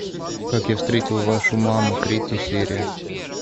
как я встретил вашу маму третья серия